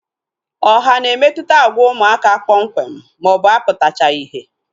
Ọha na-emetụta agwa ụmụaka kpọmkwem maọbụ aputachaghi ihe